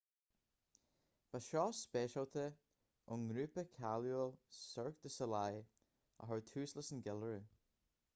ba seó speisialta ón ngrúpa cáiliúil cirque du soleil a chur tús leis an gceiliúradh